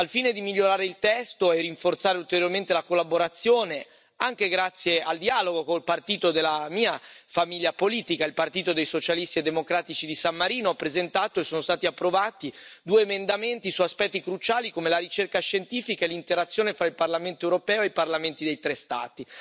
Al fine di migliorare il testo e rinforzare ulteriormente la collaborazione, anche grazie al dialogo con il partito della mia famiglia politica, il Partito dei Socialisti e Democratici di San Marino, ho presentato e sono stati approvati due emendamenti su aspetti cruciali come la ricerca scientifica e l'interazione tra il Parlamento europeo e i parlamenti dei tre Stati.